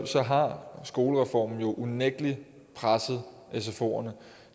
så har skolereformen unægtelig presset sfoerne